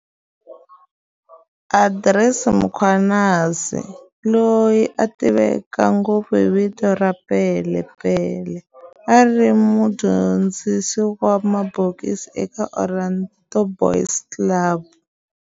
Andries Mkhwanazi, loyi a tiveka ngopfu hi vito ra Pele Pele, a ri mudyondzisi wa mabokisi eka Orlando Boys Club.